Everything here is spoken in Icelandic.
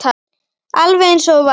Alveg eins og þú varst.